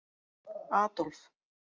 Adolf